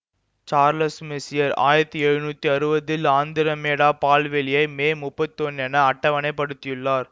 Charles Messier ஆயிரத்தி எழுநூத்தி அறுவதில் ஆந்திரமேடா பால்வெளியை மே முப்பத்தி ஒன்னு என அட்டவணைப் படுத்தியுள்ளார்